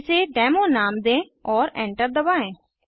इसे डेमो नाम दें और enter दबाएँ